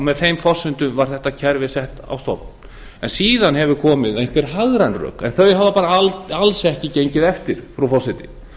með þeim forsendum var þetta kerfi sett á stofn síðan hafa komið einhver hagræn rök en þau hafa bara alls ekki gengið eftir frú forseti